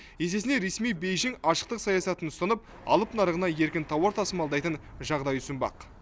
есесіне ресми бейжің ашықтық саясатын ұстанып алып нарығына еркін тауар тасымалдайтын жағдай ұсынбақ